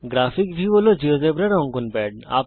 graphic view হল জীয়োজেব্রার অঙ্কন প্যাড